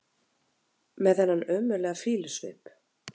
Með þennan ömurlega fýlusvip!